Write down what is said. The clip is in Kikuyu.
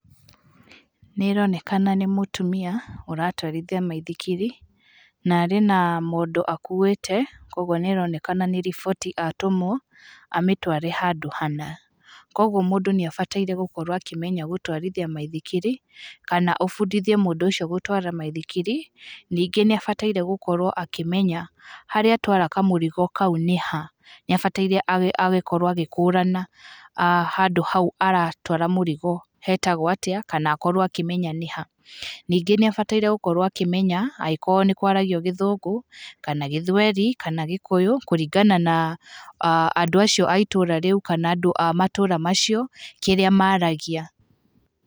Nĩronekana nĩ mũtumia ũratwarithia maithikiri na arĩ na mondo akuĩte kwa ũgũo nĩaronekana nĩ riboti atũmwo amĩtware handũ hana kwa ũguo mũndũ nĩabataire gũkorwo akĩmenya gũtwarithia maithikiri kana ũbundithie mũndũ ũcio gũtwara maithikiri ningĩ nĩabataire gũkorwo akĩmenya haríĩ atwara kamũrigo kau nĩha nĩabataire agĩkorwo agĩkũrana handũ hau aratwara mũrigo hetagwo atĩa kana akorwo akĩmenya nĩha. Ningĩ nĩabataire gũkorwo akĩmenya angĩkorwo nĩkũaragio gĩthũngũ kana gĩthwaĩri kana gĩkũyũ kũringana na andũ acio a itũra rĩu kana andũ a matũra macio kĩrĩa maragia.